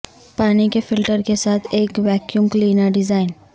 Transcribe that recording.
پانی کے فلٹر کے ساتھ ایک ویکیوم کلینر ڈیزائن